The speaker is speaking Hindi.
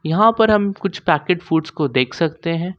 यहां पर हम कुछ पैकेट फूड्स को देख सकते है।